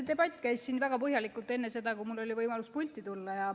No see debatt käis siin väga põhjalikult enne seda, kui mul oli võimalus pulti tulla.